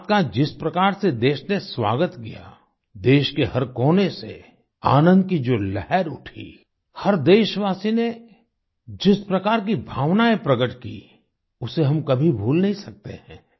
इस बात का जिस प्रकार से देश ने स्वागत किया देश के हर कोने से आनंद की जो लहर उठी हर देशवासी ने जिस प्रकार की भावनाएँ प्रकट की उसे हम कभी भूल नहीं सकते हैं